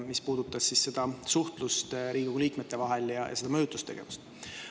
See puudutas suhtlust Riigikogu liikmete vahel ja seda mõjutustegevust.